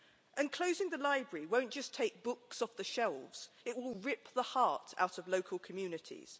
And closing the library won't just take books off the shelves it will rip the heart out of local communities.